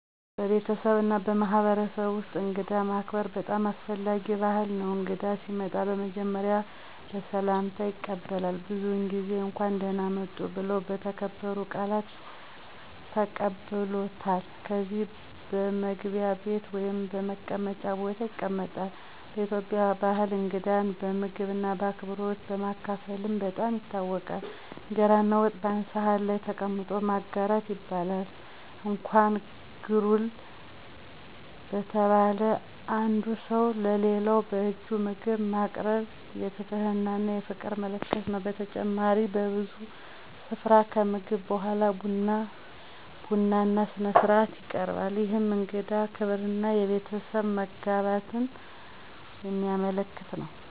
በቤተሰብና በማህበረሰብ ውስጥ እንግዳን ማከበር በጣም አስፈላጊ ባህል ነው። እንግዳ ሲመጣ በመጀመሪያ በሰላምታ ይቀበላል፣ ብዙዉን ጊዜ “እንኳን ደህና መጡ” ብለው በተከበሩ ቃላት ቀበሉታል። ከዚያም በመግቢያ ቤት ወይም በመቀመጫ ቦታ ይቀመጣሉ። በኢትዮጵያ ባህል እንግዳን በምግብና በአክብሮት በማካፈልም በጣም ይታወቃል። እንጀራና ወጥ በአንድ ሳህን ላይ ተቀምጦ በማጋራት ይበላል። እንኳን “ግሩል” በተባለ በአንዱ ሰው ለሌላው በእጁ ምግብ ማቅረብ የትህትናና የፍቅር ምልክት ነው። በተጨማሪም በብዙ ስፍራ ከምግብ በኋላ ቡና በቡና ሥነ-ሥርዓት ይቀበራል፣ ይህም የእንግዳ ክብርና የቤተሰብ መጋባትን የሚያመለክት ነው።